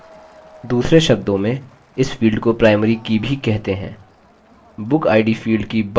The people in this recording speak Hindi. दूसरे शब्दों में इस field को primary की भी कहते हैं